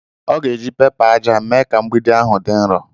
Ọ ga-eji pẹpa aja mee ka mgbidi ahụ dị nro.